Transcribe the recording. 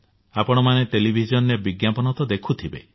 ଆପଣମାନେ ଟେଲିଭିଜନରେ ବିଜ୍ଞାପନ ତ ଦେଖୁଥିବେ